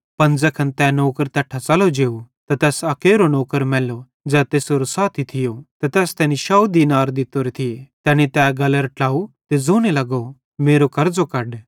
पन ज़ैखन तै नौकर तैट्ठां च़लो जेव त तैस अक एरो नौकर मैल्लो ज़ै तैसेरो साथी थियो ते तैस तैनी 100 दीनार दित्तोरे थिये तैनी तै गलेरां ट्लाव ते ज़ोने लगो मेरो कर्ज़ो कढ